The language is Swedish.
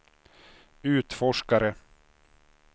utforskare